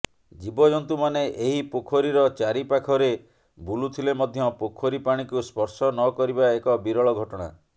ଜୀବଜନ୍ତୁମାନେ ଏହି ପୋଖରୀର ଚାରିପାଖରେ ବୁଲୁଥିଲେ ମଧ୍ୟ ପୋଖରୀ ପାଣିକୁ ସ୍ପର୍ଶ ନକରିବା ଏକ ବିରଳ ଘଟଣା